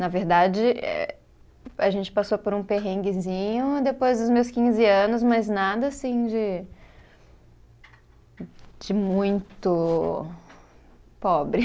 Na verdade, eh a gente passou por um perrenguezinho depois dos meus quinze anos, mas nada assim de de muito pobre.